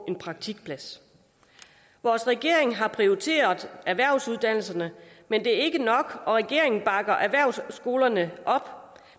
en praktikplads vores regering har prioriteret erhvervsuddannelserne men det er ikke nok regeringen bakker erhvervsskolerne op